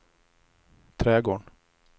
trädgården